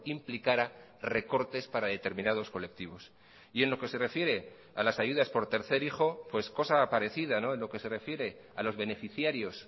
implicara recortes para determinados colectivos y en lo que se refiere a las ayudas por tercer hijo pues cosa parecida en lo que se refiere a los beneficiarios